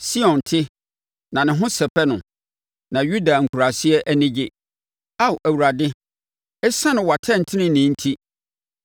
Sion te, na ne ho sɛpɛ no na Yuda nkuraase ani gye Ao Awurade, ɛsiane wʼatɛntenenee enti.